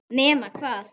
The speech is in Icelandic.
Nema hvað.